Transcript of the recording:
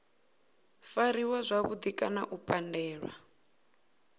fariwa zwavhudi kana u pandelwa